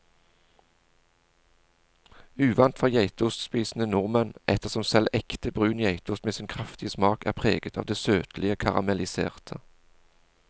Uvant for geitostspisende nordmenn, ettersom selv ekte brun geitost med sin kraftige smak er preget av det søtlige karamelliserte.